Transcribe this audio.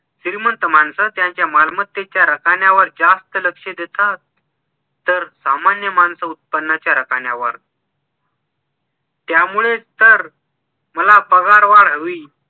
श्रीमंत माणसं त्यांच्या रकण्यावर जास्त लक्ष देतात तर सामान्य माणसं उत्पनाच्या रकाण्यावर त्यामुळेच तर मला पगार वाढ हवी